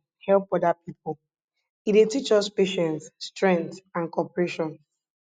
i dey enjoy wen pipo dey use turn by turn help oda pipo e dey teach us patience strength an cooperation